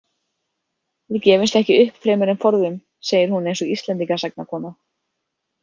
Við gefumst ekki upp fremur en forðum, segir hún eins og Íslendingasagnakona.